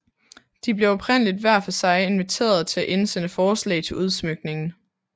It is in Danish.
De blev oprindeligt hver for sig inviteret til at indsende forslag til udsmykningen